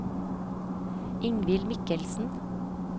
Ingvild Michelsen